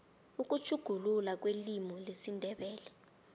ukutjhuguluka kwelimu lesindebele